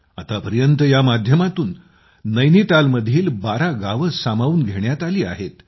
आतापर्यंत या माध्यमातून नैनितालमधील 12 गावे सामावून घेण्यात आली आहेत